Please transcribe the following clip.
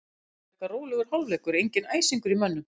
Það var frekar rólegur hálfleikur, enginn æsingur í mönnum.